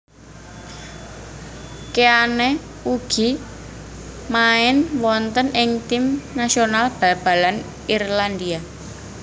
Keane ugi main wonten ing tim nasional bal balan Irlandia